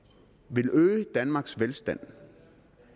vil øge danmarks velstand